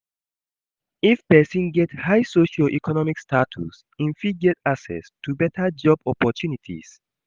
If persin get high socio-economic status im fit get access to better job opprtunities